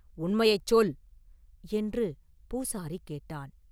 உண்மையைச் சொல்” என்று பூசாரி கேட்டான்.